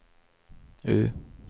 U